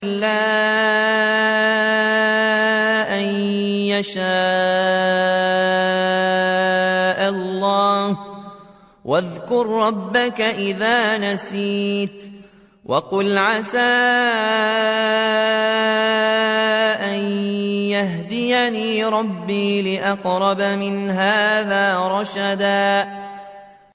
إِلَّا أَن يَشَاءَ اللَّهُ ۚ وَاذْكُر رَّبَّكَ إِذَا نَسِيتَ وَقُلْ عَسَىٰ أَن يَهْدِيَنِ رَبِّي لِأَقْرَبَ مِنْ هَٰذَا رَشَدًا